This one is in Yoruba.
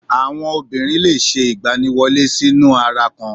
Àwọn obìnrin le è se ìgbaniwọlé sínú ara kan